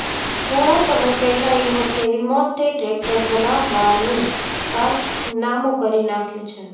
થોડા સમય પહેલા યુવકે રિમોટ થી ટ્રેકટર ચલાવવાનું કારનામુ કરી નાખ્યું છે